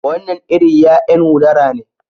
Wannan iri ya'yan udara ne